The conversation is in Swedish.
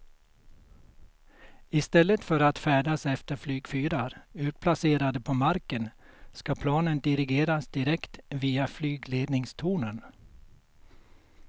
I stället för att färdas efter flygfyrar utplacerade på marken ska planen dirigeras direkt via flygledningstornen.